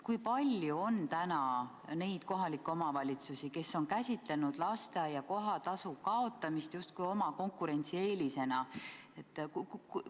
Kui palju on praegu neid kohalikke omavalitsusi, kes on käsitanud lasteaia kohatasu kaotamist justkui oma konkurentsieelisena?